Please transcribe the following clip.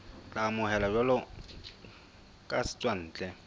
tla amohelwa jwalo ka setswantle